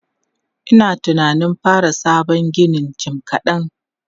Ina tunanin fara sabon ginin jim kaɗan.